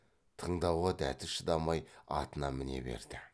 тыңдауға дәті шыдамай атына міне берді